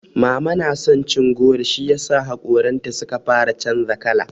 Mama na son cin goro shiyasa haƙoranta suka fara canza kala.